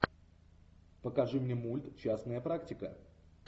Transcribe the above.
покажи мне мульт частная практика